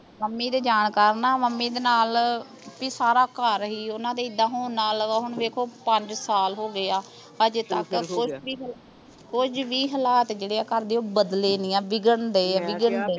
mummy ਦੇ ਜਾਣ ਕਾਰਣ ਨਾਂ ਮੰਮੀ ਦੇ ਨਾਲ ਬੀ ਸਾਰਾ ਘਰ ਸੀ ਓਹਨਾਂ ਦੇ ਐਦਾਂ ਹੋਣ ਨਾਲ ਹੁਣ ਵੇਖੋ ਪੰਜ ਸਾਲ ਹੋ ਗਏ ਆ ਹਜੇ ਤਕ ਕੁਝ ਵੀ ਕੁਝ ਵੀ ਹਲਾਤ ਆ ਘਰ ਦੇ ਓਹ ਬਦਲੇ ਨਹੀਂ ਆ ਵਿਗੜਨ ਦਏ ਆ ਵਿਗੜਨ ਦਏ ਆ